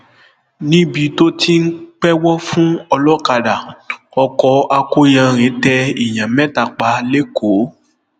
níbi tó ti ń pẹwọ fún ọlọkadà ọkọ akọyanrìn tẹ èèyàn mẹta pa lẹkọọ